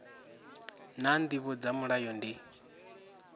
naa ndivho dza mulayo ndi